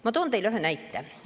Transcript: Ma toon teile ühe näite.